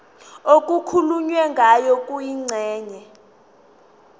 okukhulunywe ngayo kwingxenye